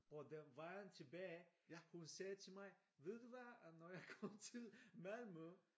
Og da vejen tilbage hun sagde til mig ved du hvad når jeg kommer til Malmø